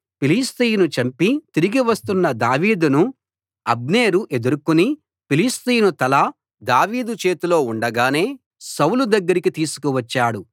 ఫిలిష్తీయుని చంపి తిరిగి వస్తున్న దావీదును అబ్నేరు ఎదుర్కొని ఫిలిష్తీయుని తల దావీదు చేతిలో ఉండగానే సౌలు దగ్గరికి తీసుకువచ్చాడు